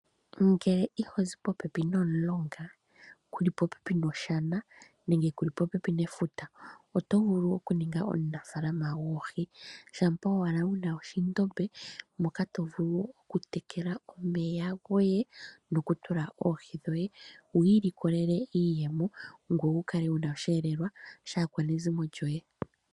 Ngele ihozi popepi nomulonga kuli popepi noshana nenge kuli popepi nefuta oto vulu okuninga omunafaalama goohi. Shampa owala wuna ondombe moka to vulu okutekela omeya goye eto tula mo oohi dhoye wu ilikolele iiyemo ngoye wukale wuna oshiyelelwa shaakwanezimo lyoye.